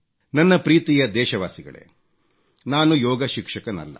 ನನ್ನ ಪ್ರೀತಿಯ ದೇಶವಾಸಿಗಳೇ ನಾನು ಯೋಗ ಶಿಕ್ಷಕನಲ್ಲ